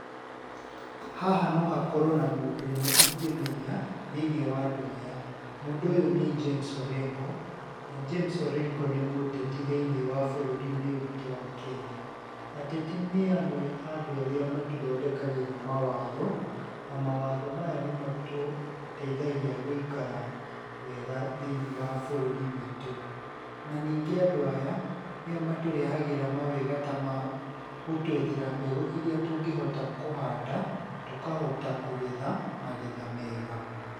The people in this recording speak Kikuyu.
Haha no hakorwo na mũndũ ũmwe ingĩmenya thĩinĩ wa andũ aya. Mũndũ ũyũ nĩ James Orengo. Na James Orengo nĩ mũteti thĩinĩ wa bũrũri-inĩ witũ wa Kenya. Ateti nĩ amwe a andũ arĩa matũthondekagĩra mawatho. Na mawatho maya nĩ matũteithagia gũikara wega thĩinĩ wa bũrũri witũ, na ningĩ andũ aya nĩo matũrehagĩra mawega ta ma gũtũethera mbegũ iria tũngĩhota kũhanda, tũkahota kũgetha magetha mega.